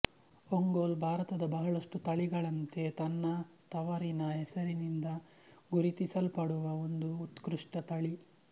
ಒಂಗೋಲ್ ಭಾರತದ ಬಹಳಷ್ಟು ತಳಿಗಳಂತೆ ತನ್ನ ತವರಿನ ಹೆಸರಿನಿಂದ ಗುರುತಿಸಲ್ಪಡುವ ಒಂದು ಉತ್ಕೃಷ್ಟ ತಳಿ